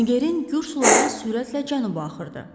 Nigerin Gür suları sürətlə cənuba axırdı.